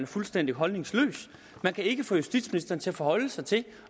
fuldstændig holdningsløs vi kan ikke få justitsministeren til at forholde sig til